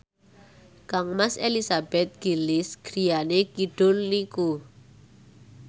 kangmas Elizabeth Gillies griyane kidul niku